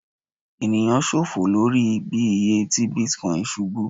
eniyan ṣọfọ lori bi iye ti Bitcoin ṣubu